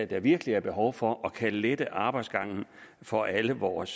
der virkelig er behov for og kan lette arbejdsgangen for alle vores